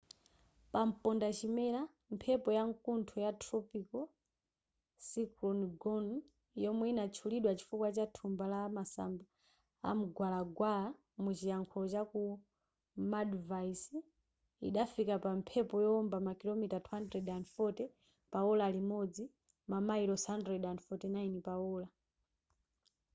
pampondachimera mphepo ya nkuntho ya tropical cyclone gonu yomwe inatchulidwa chifukwa cha thumba la masamba amgwalagwala muchilankhulo chaku maldives idafika pa mphepo yowomba makilomita 240 pa ola limodzi mamayilosi 149 pa ola